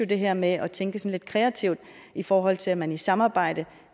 det her med at tænke lidt kreativt i forhold til at man i samarbejde